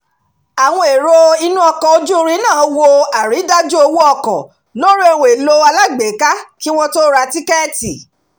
àwọn èrò inú ọkọ̀ ojú-irin náà wo àrídájú owó ọkọ̀ lórí ohun-èlò alágbèéká kí wọn tó ra tíkẹ́ẹ̀tì